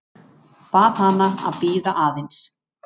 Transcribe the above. Bað hana að bíða aðeins.